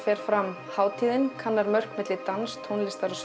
fer fram hátíðin kannar mörkin milli dans tónlistar og